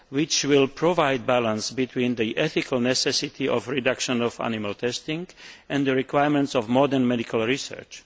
That will provide a balance between the ethical necessity of the reduction of animal testing and the requirements of modern medical research.